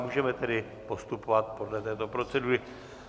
Můžeme tedy postupovat podle této procedury.